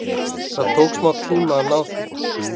Það tók smá tíma að ná því.